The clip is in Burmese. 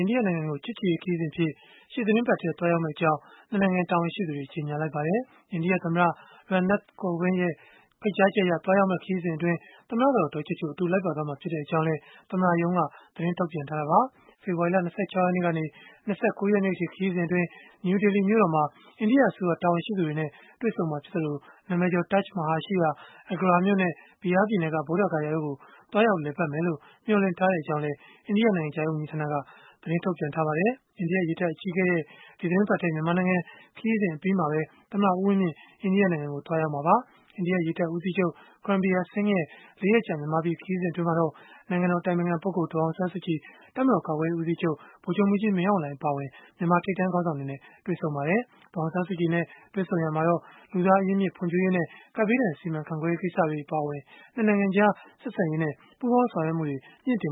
ိန္ဒိယနိုင်ငံကို ချစ်ကြည်ရေးခရီးစဉ်အဖြစ် ရှေ့သီတင်းပတ်ထဲ သွားရောက်မှာ ဖြစ်ကြောင်း ၂ နိုင်ငံ တာဝန်ရှိသူတွေ ကြေညာလိုက်ပါတယ်။ အိန္ဒိယသမ္မတ Ram Nath Kovind ရဲ့ ဖိတ်ကြားချက်အရ သွားရောက်မယ့် ခရီးစဉ်မှာ သမ္မတကတော် ဒေါ်ချိုချို အတူလိုက်ပါသွားမှာ ဖြစ်ကြောင်းလည်း သမ္မတရုံးက သတင်းထုတ်ပြန်ထားတာပါ။ ဖေဖော်ဝါရီလ ၂၆ ရက်နေ့ကနေ ၂၉ ရက်နေ့အထိ ခရီးစဉ်အတွင်း နယူးဒေလီမြို့တော်မှာ အိန္ဒိယအစိုးရ တာဝန်ရှိသူတွေနဲ့ တွေ့ဆုံမှာဖြစ်သလို၊ နာမည်ကျော် Taj Mahal ရှိရာ Agra မြို့နဲ့ Bihar ပြည်နယ်က ဗုဒ္ဓဂယာ တို့ကို သွားရောက်လည်ပတ်မယ်လို့ မျှော်လင့်ထားကြောင်းလည်း အိန္ဒိယနိုင်ငံခြားရေးဝန်ကြီးဌာနက သတင်းထုတ်ပြန်ထားပါတယ်။ အိန္ဒိယရေတပ်အကြီးအကဲရဲ့ ဒီသီတင်းပတ်ထဲ မြန်မာနိုင်ငံ ခရီးစဉ် အပြီးမှာပဲ သမ္မတ ဦးဝင်းမြင့် အိန္ဒိယနိုင်ငံကိုသွားရောက်မှာပါ။ အိန္ဒိယရေတပ်ဦးစီးချုပ် Karambir Singh ရဲ့ ၄ ရက်ကြာ မြန်မာပြည် ခရီးစဉ်အတွင်းမှာတော့ နိုင်ငံတော် အတိုင်ပင်ခံပုဂ္ဂိုလ် ဒေါ်အောင်ဆန်းစုကြည်၊ တပ်မတော် ကာကွယ်ရေးဦးစီးချုပ် ဗိုလ်ချုပ်မှူးကြီး မင်းအောင်လှိုင် အပါအဝင် မြန်မာထိပ်တန်းခေါင်းဆောင်တွေနဲ့ တွေ့ဆုံခဲ့ပါတယ်။ ဒေါ်အောင်ဆန်းစုကြည်နဲ့ တွေ့ဆုံရာမှာ လူသားအရင်းအမြစ် ဖွံ့ဖြိုးရေးနဲ့ ကပ်ဘေးဒဏ် စီမံခန့်ခွဲရေး ကိစ္စတွေ အပါအဝင် ၂ နိုင်ငံကြား ဆက်ဆံရေးနဲ့ ပူးပေါင်းဆောင်ရွက်မှုတွေ မြှင့်တင်